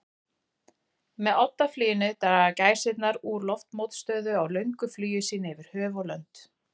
Með oddafluginu draga gæsirnar úr loftmótstöðu á löngu flugi sínu yfir höf og lönd.